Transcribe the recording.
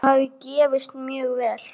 Þetta hafi gefist mjög vel.